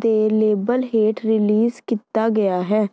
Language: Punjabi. ਦੇ ਲੇਬਲ ਹੇਠ ਰਿਲੀਜ਼ ਕੀਤਾ ਗਿਆ ਹੈ